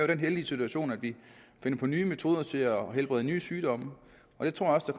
den heldige situation at vi finder på nye metoder til at helbrede sygdomme og jeg tror også det